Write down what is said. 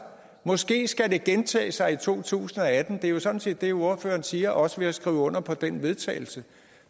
måske skal det gentage sig i to tusind og atten det er jo sådan set det ordføreren siger også ved at skrive under på den vedtagelse